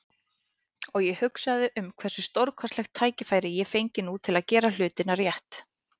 Og ég hugsaði um hversu stórkostlegt tækifæri ég fengi nú til að gera hlutina rétt.